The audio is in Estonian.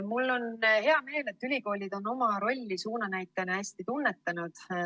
Mul on hea meel, et ülikoolid on oma rolli suunanäitajana hästi tunnetanud.